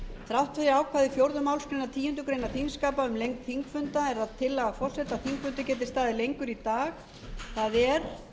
þrátt fyrir ákvæði fjórðu málsgreinar tíundu greinar þingskapa um lengd þingfunda er það tillaga forseta að þingfundur geti staðið lengur í dag það er